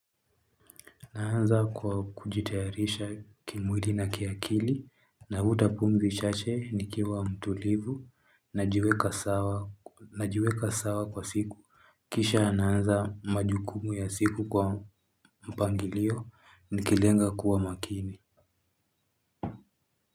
Naanza kwa kujitayarisha kimwili na kiakili na futa pumzi chache nikiwa mtulivu na jiweka sawa kwa siku. Kisha naanza majukumu ya siku kwa mpangilio nikilenga kuwa makini.